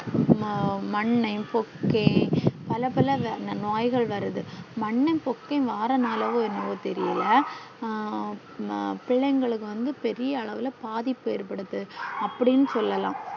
ஆஹ் மன்னன் போக்கை பல பல நோய்கள் வருது மன்னன் போக்கை வாரதுனலையோ என்னோவோ தெரில ஹம் பிள்ளைகளுக்கு வந்து பெரிய அளவுள்ள பாதிப்பு ஏற்படுத்தது அப்டின்னு சொல்லலா